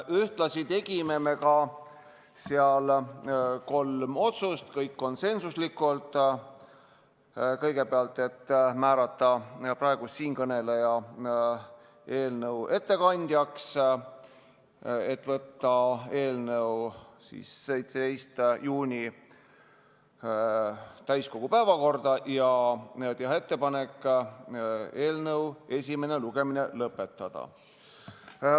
Me tegime seal kolm otsust, kõik konsensuslikult: määrata siinkõneleja eelnõu ettekandjaks, võtta eelnõu 17. juuniks täiskogu päevakorda ja teha ettepanek eelnõu esimene lugemine lõpetada.